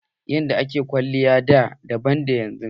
Yadda a ke kwalliya da daban ne da yanzu.